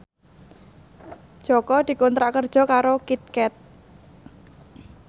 Jaka dikontrak kerja karo Kit Kat